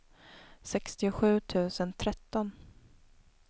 sextiosju tusen tretton